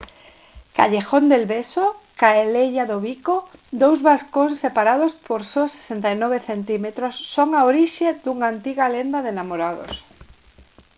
callejón del beso calella do bico. dous balcóns separados por só 69 centímetros son a orixe dunha antiga lenda de namorados